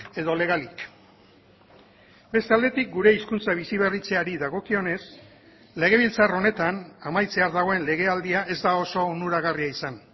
edo legalik beste aldetik gure hizkuntza biziberritzeari dagokionez legebiltzar honetan amaitzear dagoen legealdia ez da oso onuragarria izan